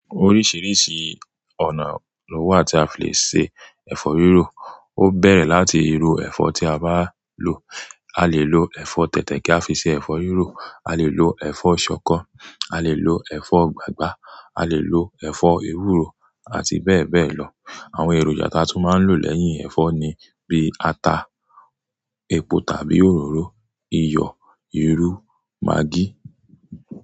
Oríṣìíríṣìí ọ̀nà ló wà tí a fi lè ṣe ẹ̀fọ́ rírò. Ó bẹ̀rẹ̀ láti irú ẹ̀fọ́ tí a bá lò. A lè lo ẹ̀fọ́ tẹ̀tẹ̀ kí a fi ṣe ẹ̀fọ́ rírò, a lè lo ẹ̀fọ́ ṣọkọ, a lè lo ẹ̀fọ́ gbàgbá, a lè lo ẹ̀fọ́ ewúro àti bẹ́ẹ̀ bẹ́ẹ̀ lọ. Àwọn èròjà taa tú máa ń lò lẹ́yìn ẹ̀fọ́ ni bí ata, epo tàbí òróró, iyọ̀, ìrù, magí.